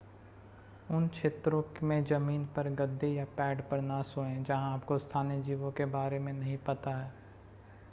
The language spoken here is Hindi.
उन क्षेत्रों में ज़मीन पर गद्दे या पैड पर न सोएं जहां आपको स्थानीय जीवों के बारे में नहीं पता है